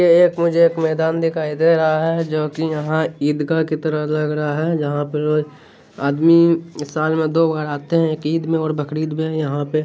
ये एक मुझे एक मैदान दिखाई दे रहा है जो कि यहाँ ईदगाह की तरह लग रहा है जहाँ पर रोज आदमी साल में दो बार आते है एक ईद में एक बकरीद में यहां पे।